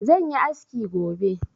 zan yi aski gobe